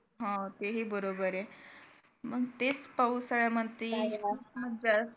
हा ते हि बरोबर आहे मग ते पावसाळ्यात